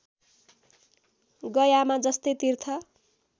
गयामा जस्तै तीर्थ